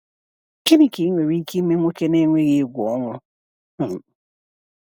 Gịnị ka ị nwere ike ime nwoke na-enweghị egwu ọnwụ? um